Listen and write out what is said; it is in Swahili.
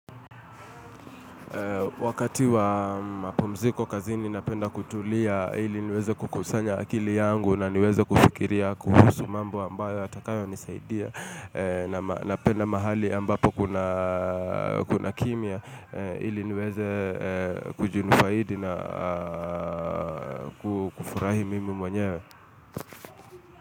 Wakati wa mpumziko kazi ni napenda kutulia ili niweze kukusanya akili yangu na niweze kufikiria kuhusu mambo ambayo yatakayo nisaidia na napenda mahali ambapo kuna kimya ili niweze kujinufaidi na kufurahi mimi mwenyewe.